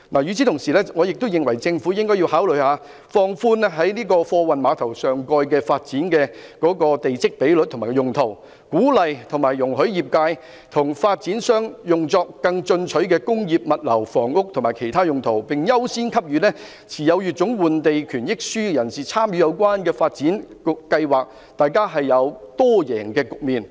與此同時，我認為政府應考慮放寬在貨運碼頭上蓋發展的地積比率和用途，鼓勵和容許業界和發展商作更進取的工業、物流、房屋及其他用途，並優先給予持有乙種換地權益書的人士參與有關的發展計劃，造成多贏的局面。